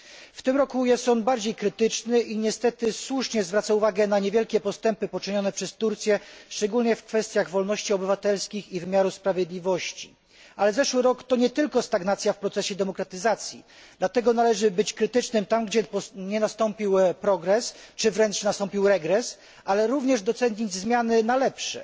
W tym roku jest ono bardziej krytyczne i niestety słusznie zwraca uwagę na niewielkie postępy poczynione przez Turcję, szczególnie w kwestiach wolności obywatelskich i wymiaru sprawiedliwości. Ale zeszły rok to nie tylko stagnacja w procesie demokratyzacji, dlatego należy być krytycznym tam, gdzie nie nastąpił progres czy wręcz nastąpił regres, ale również docenić zmiany na lepsze.